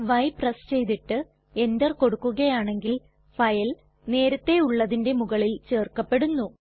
y press ചെയ്തിട്ട് enter കൊടുക്കുകയാണെങ്കിൽ file നേരത്തെ ഉള്ളതിന്റെ മുകളിൽ ചെർക്കപെടുന്നു